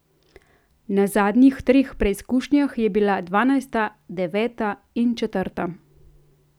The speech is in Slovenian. Na zadnjih treh preizkušnjah je bila dvanajsta, deveta in četrta ...